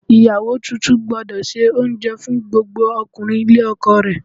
Ìyàwó tuntun gbúdọ̀ se oúnjẹ fún gbogbo ọkùnrin ilé ọkọ rẹ̀.